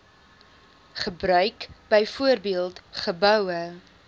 gebruik byvoorbeeld geboue